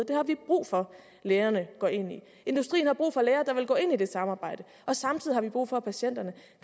det har vi brug for at lægerne går ind i industrien har brug for læger der vil gå ind i det samarbejde samtidig har vi brug for at patienterne